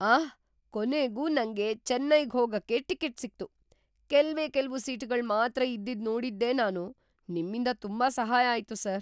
ಆಹ್! ಕೊನೆಗೂ ನಂಗೆ ಚೆನ್ನೈಗ್ ಹೋಗಕ್ಕೆ ಟಿಕೆಟ್ ಸಿಕ್ತು. ಕೆಲ್ವೇ ಕೆಲ್ವು ಸೀಟ್‌ಗಳ್ ಮಾತ್ರ ಇದ್ದಿದ್ ನೋಡಿದ್ದೆ ನಾನು. ನಿಮ್ಮಿಂದ ತುಂಬಾ ಸಹಾಯ ಆಯ್ತು ಸರ್.